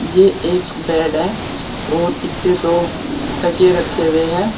ये एक बेड है और इसके दो तकिये रखे हुए हैं।